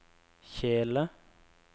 kjele